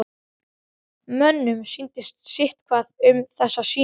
Mönnum sýndist sitthvað um þessa sýningu.